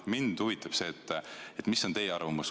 Mind huvitab, mis on teie arvamus.